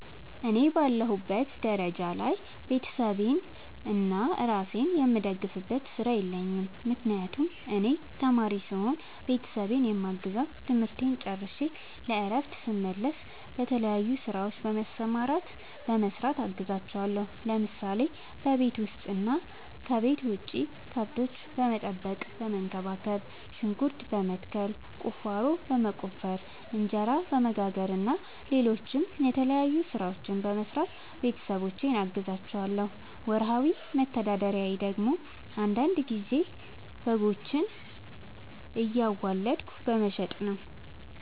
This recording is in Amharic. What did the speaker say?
እኔ በአለሁበት ደረጃ ላይ ቤተሰቤንና እራሴን የምደግፍበት ስራ የለኝም። ምክንያቱም እኔ ተማሪ ስሆን ቤተሰቤን የማግዘው ትምህርቴን ጨርሸ ለእረፍት ስመለስ በተለያዩ ስራዎች በመሰማራትና በመስራት አግዛቸዋለሁ። ለምሳሌ፦ በቤት ውስጥ እና ከቤት ውጭ ከብቶች በመጠበቅና በመንከባከብ፣ ሽንኩርት በመትከል፣ ቁፋሮ በመቆፈር፣ እንጀራ በመጋገር እና ሌሎችም የተለያዩ ስራዎችን በመስራት ቤተሰቦቼን አግዛቸዋለሁ። ወርሃዊ መተዳደሪያ ደግሞ አንዳንድ ጊዜ በጎችን እያዋለድኩ በመሸጥ ነው።